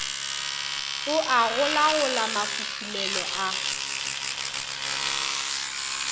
o a golagola mafufulelo a